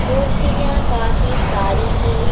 मूर्तियां काफी सारी हैं।